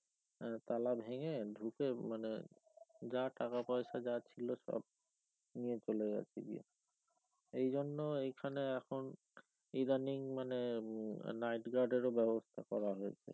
তালা ভেঙে ঢুকে মানে যা টাকাপয়সা যা ছিল সব নিয়ে চলে গেছেগিয়ে এই জন্য এইখানে এখন ইদানিং মানে উম nightguard এর ও ব্যবস্থা করা হয়েছে